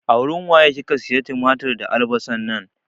A wurin waye kika siya tumatir da albasan nan?